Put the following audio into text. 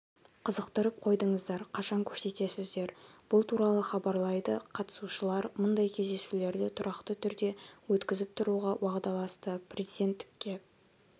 қызықтырып қойдыңыздар қашан көрсетесіздер бұл туралыв хабарлайды қатысушылар мұндай кездесулерді тұрақты түрде өткізіп тұруға уағдаласты президенттікке